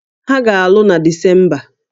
Ha ga-alụ na Disemba